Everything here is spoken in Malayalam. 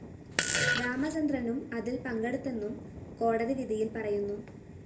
രാമചന്ദ്രനും അതില്‍ പങ്കെടുത്തെന്നും കോടതിവിധിയില്‍ പറയുന്നു